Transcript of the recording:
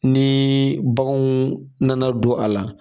Ni baganw nana don a la